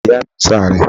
Ìyá ìyáàmi ń ṣàárẹ̀.